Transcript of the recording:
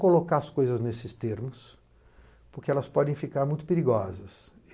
colocar as coisas nesses termos, porque elas podem ficar muito perigosas.